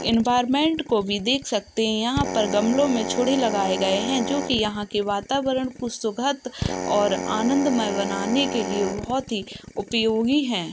Environment को देख सकते हैं यहाॅं पर गमलो में लगाए गए हैं जो कि यहाँ के वातावरण को सुखद और आंदमय बनाने के लिए बोहोत ही उपयोगी है।